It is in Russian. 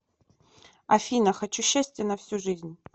афина хочу счастье на всю жизнь